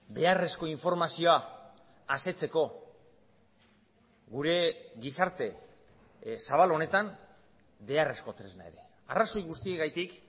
beharrezko informazioa asetzeko gure gizarte zabal honetan beharrezko tresna ere arrazoi guztiengatik